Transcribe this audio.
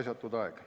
Raisatud aeg.